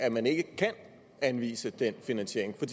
af at man ikke kan anvise den finansiering for